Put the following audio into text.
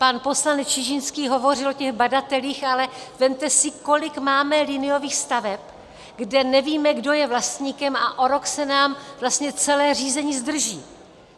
Pan poslanec Čižinský hovořil o těch badatelích, ale vezměte si, kolik máme liniových staveb, kde nevíme, kdo je vlastníkem, a o rok se nám vlastně celé řízení zdrží.